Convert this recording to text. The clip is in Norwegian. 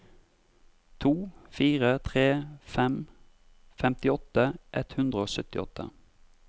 to fire tre fem femtiåtte ett hundre og syttiåtte